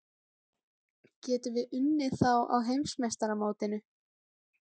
Getum við unnið þá á Heimsmeistaramótinu?